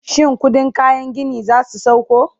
shin ƙuɗin kayan gini zasu sauko?